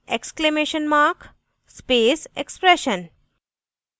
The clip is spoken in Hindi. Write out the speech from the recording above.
* exclamation mark space expression